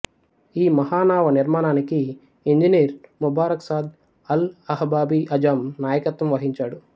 ఈ మహా నావ నిర్మాణానికి engineer Mubarak Saad Al Ahbabi Azzam నాయకత్వం వహించాడు